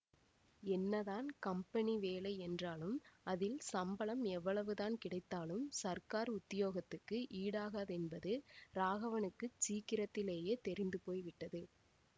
என்னதான் கம்பெனி வேலை என்றாலும் அதில் சம்பளம் எவ்வளவுதான் கிடைத்தாலும் சர்க்கார் உத்தியோகத்துக்கு ஈடாகாதென்பது ராகவனுக்குச் சீக்கிரத்திலேயே தெரிந்து போய்விட்டது